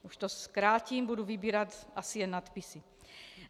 Už to zkrátím, budu vybírat asi jen nadpisy.